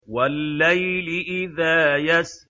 وَاللَّيْلِ إِذَا يَسْرِ